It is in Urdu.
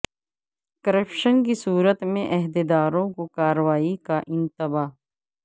کرپشن کی صورت میں عہدیداروں کو کاروائی کا انتباہ